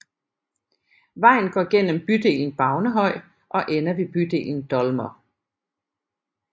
Vejen går gennem bydelen Bavnehøj og ender ved bydelen Dolmer